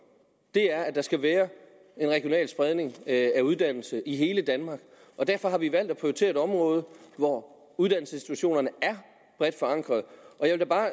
er at der skal være en regional spredning af uddannelse i hele danmark derfor har vi valgt at prioritere et område hvor uddannelsesinstitutionerne er bredt forankrede jeg vil da bare